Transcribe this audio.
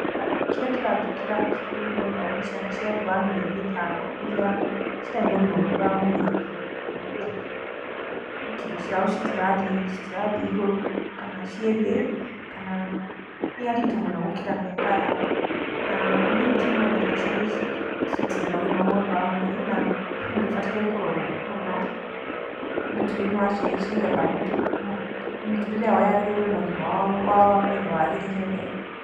Kĩrĩa kĩranjũkĩra hakiri-inĩ ndona ũũ nĩ cĩana cia thĩ wa mĩeri ĩtano, iria citarĩ na ũgima mwega wa mwĩrĩ. Kiro ciao citirathi, citirathi igũrũ, kana ciĩ thĩ, kana nĩ aritũ mũno gũkĩra mĩaka yao, na ũndũ ũyũ ti mwega tondũ ciana ici citirĩ na ũgima mwega wa mwĩrĩ, na nĩ ũndũ ũbataire kũrorwo mũno, mĩtũrire-inĩ ya ciana ici nĩ getha mĩtũrĩre yao yagĩrĩre na ũgima wao wa mwĩrĩ wagĩrĩre wega.